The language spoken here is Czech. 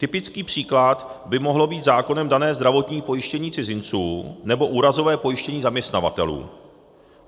Typický příklad by mohlo být zákonem dané zdravotní pojištění cizinců nebo úrazové pojištění zaměstnavatelů.